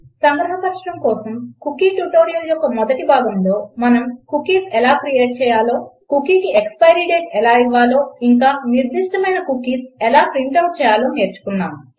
సంగ్రహపరచడం కోసం cookie tutorial యొక్క మొదటి భాగములో మనం కుకీస్ ఎలా క్రియేట్ చేయాలో కుకీకి ఎక్స్పైరి డేట్ ఎలా ఇవ్వాలో ఇంకా నిర్దిష్టమైన కుకీస్ ఎలా ప్రింట్ ఔట్ చేయాలో నేర్చుకున్నాము